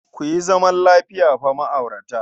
Ku yi zaman lafiya fa ma'aurata.